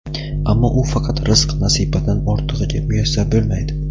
ammo u faqat rizq-nasibadan ortig‘iga muyassar bo‘lmaydi.